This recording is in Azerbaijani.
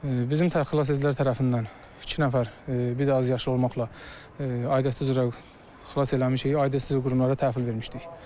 Bizim təxliyəçilər tərəfindən üç nəfər bir azyaşlı olmaqla aidiyyatı üzrə xilas eləmişik, aidiyyatı üzrə qruplara təhvil vermişdik.